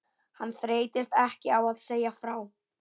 Hann þreyttist ekki á að segja frá